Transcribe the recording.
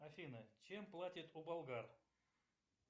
афина чем платят у болгар